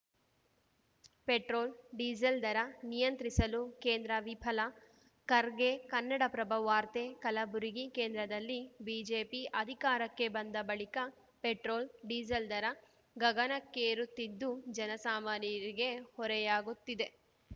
petrol diesel ದರ ನಿಯಂತ್ರಿಸಲು ಕೇಂದ್ರ ವಿಫಲ ಖರ್ಗೆ ಕನ್ನಡಪ್ರಭ ವಾರ್ತೆ ಕಲಬುರಗಿ ಕೇಂದ್ರದಲ್ಲಿ ಬಿಜೆಪಿ ಅಧಿಕಾರಕ್ಕೆ ಬಂದ ಬಳಿಕ ಪೆಟ್ರೋಲ್‌ ಡೀಸೆಲ್‌ ದರ ಗಗನಕ್ಕೇರುತ್ತಿದ್ದು ಜನಸಾಮಾನ್ಯರಿಗೆ ಹೊರೆಯಾಗುತ್ತಿದೆ